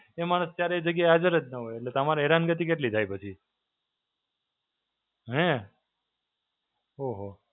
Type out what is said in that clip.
એ માણસ ત્યારે એ જગ્યાએ હાજર જ ના હોય. એટલે તમારે હેરાનગતિ કેટલી થાય પછી. હે, ઓહો.